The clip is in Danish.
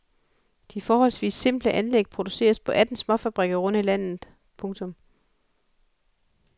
De forholdsvis simple anlæg produceres på atten småfabrikker rundt i landet. punktum